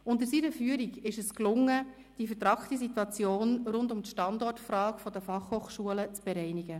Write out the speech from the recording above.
Unter seiner Führung gelang es, die vertrackte Situation rund um die Standortfrage der BFH zu bereinigen.